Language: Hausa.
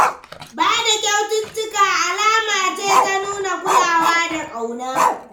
Ba da kyaututtuka alama ce ta nuna kulawa da ƙauna.